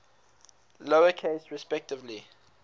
lower case respectively